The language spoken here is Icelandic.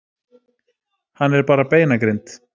Hann er bara beinagrind.